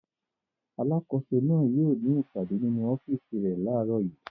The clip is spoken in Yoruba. Alákòóso náà yóò ní ìpàdé nínú ọ́fíísì rẹ̀ láàárọ̀ yìí.